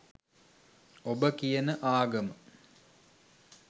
ඔබ කියන ආගම